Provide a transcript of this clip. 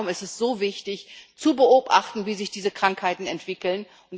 Und auch darum ist es so wichtig zu beobachten, wie sich diese Krankheiten entwickeln.